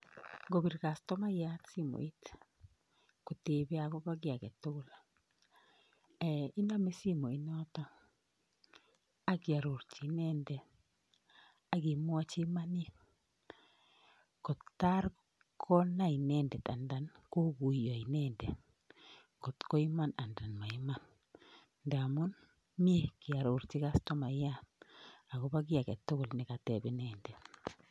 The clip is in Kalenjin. Ngobir kustomayat simoit kotebe akobo ki agetugul iname simoit nootok akiarurchi inendet akimwochi imanit kotaar konai inendet kokuiyo inendet kotkoiman anan maiman ndaamun mie kearorchi kastomayat akobo ki agetugul nekateb inendet